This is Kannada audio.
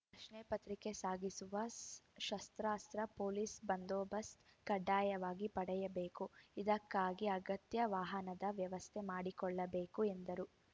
ಪ್ರಶ್ನೆಪತ್ರಿಕೆ ಸಾಗಿಸುವಾಗ ಸಶಸ್ತ್ರ ಪೊಲೀಸ್‌ ಬಂದೋಬಸ್ತ್ ಕಡ್ಡಾಯವಾಗಿ ಪಡೆಯಬೇಕು ಇದಕ್ಕಾಗಿ ಅಗತ್ಯ ವಾಹನದ ವ್ಯವಸ್ಥೆ ಮಾಡಿಕೊಳ್ಳಬೇಕು ಎಂದರು